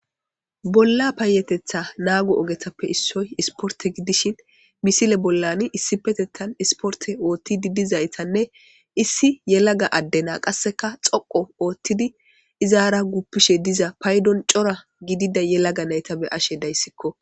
Bollaa payyatheththaa naago ogethappe issoy ispportte gidishin misile bollaani isssppetheththaani isporththe ooththiiddi dizayssanne issi yelaga adde naa qassika tsoqqu ooththidi izaara guppishe diza paydon cora gidida yelaga na7etha be7ashe daysikko.